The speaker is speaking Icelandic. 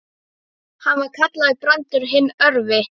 Hann var kallaður Brandur hinn örvi.